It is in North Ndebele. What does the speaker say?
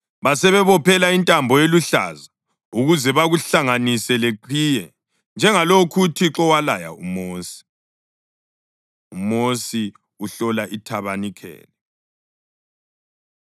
Basebebophela intambo eluhlaza ukuze bakuhlanganise leqhiye, njengalokhu uThixo walaya uMosi. UMosi Uhlola IThabanikeli